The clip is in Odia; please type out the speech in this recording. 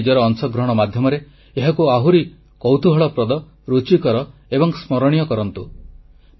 ସେମାନେ ନିଜର ଅଂଶଗ୍ରହଣ ମାଧ୍ୟମରେ ଏହାକୁ ଆହୁରି କୌତୁହଳପ୍ରଦ ରୁଚିକର ଏବଂ ସ୍ମରଣୀୟ କରନ୍ତୁ